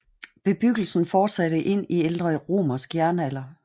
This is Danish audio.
Bebyggelsen fortsatte ind i ældre romersk jernalder